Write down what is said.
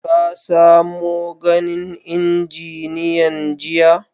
Ka samo ganin injiniyan jiya?